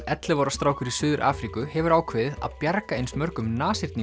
ellefu ára strákur í Suður Afríku hefur ákveðið að bjarga eins mörgum